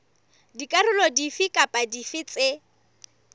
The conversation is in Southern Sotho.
dikarolo dife kapa dife tse